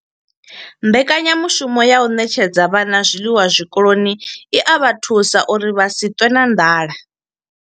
Mbekanyamushumo ya u ṋetshedza vhana zwiḽiwa zwikoloni i vha thusa uri vha si ṱwe na nḓala.